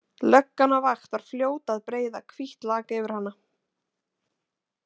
Löggan á vakt var fljót að breiða hvítt lak yfir hana.